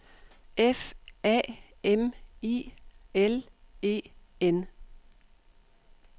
F A M I L E N